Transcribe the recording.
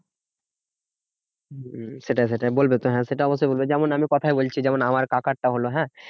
হম সেটাই সেটাই বলবে তো হ্যাঁ সেটা অবশ্যই বলবে। যেমন আমি কথায় বলছি যেমন আমার কাকারটা হলো হ্যাঁ